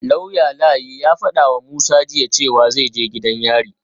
Lauya Layi ya fadawa Musa jiya cewa zai je gidan yari